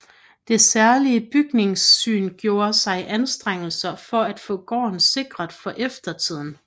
Det særlige Bygningssyn gjorde sig anstrengelser for at få gården sikret for eftertiden